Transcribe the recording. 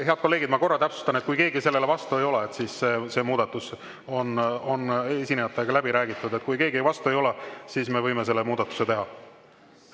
Head kolleegid, ma korra täpsustan, et kui keegi sellele vastu ei ole, see muudatus on esinejatega läbi räägitud, siis me võime selle muudatuse teha.